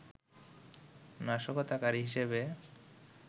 নাশকতাকারী হিসেবে